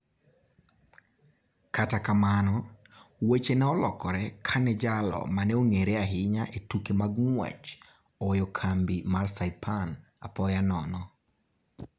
Kata kamano, weche ne olokore kane jalo ma ne ong'ere ahinya e tuke mag ng'wech, oweyo kambi mar Saipan apoya nono.